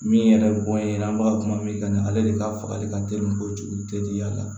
Min yɛrɛ bɔn n ɲe an b'a kuma min kan ale de ka fagali ka teli ko jeli te diya la